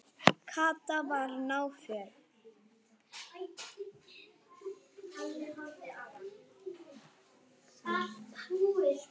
Kata var náföl.